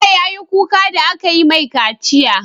Bello yayi kuka da akayi mai kaciya